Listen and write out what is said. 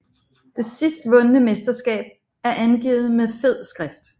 Det sidst vundne mesterskab er angivet med fed skrift